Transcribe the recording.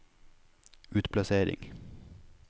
utplassering